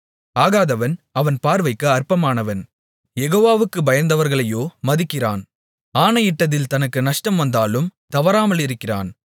ஆகாதவன் அவன் பார்வைக்கு அற்பமானவன் யெகோவாவுக்குப் பயந்தவர்களையோ மதிக்கிறான் ஆணையிட்டதில் தனக்கு நஷ்டம் வந்தாலும் தவறாமலிருக்கிறான்